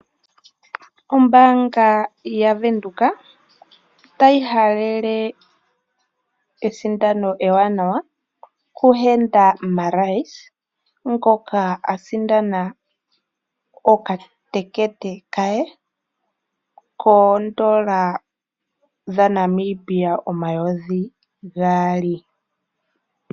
Ombaanga yaVenduka otayi halele esindano ewanawa ku Henda Marais ngono a sindana oka tekete koondola dhaNamibia omayovi gaali.